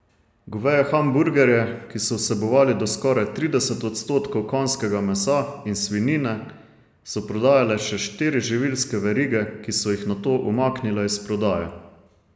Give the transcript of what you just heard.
Goveje hamburgerje, ki so vsebovali do skoraj trideset odstotkov konjskega mesa in svinjine, so prodajale še štiri živilske verige, ki so jih nato umaknile iz prodaje.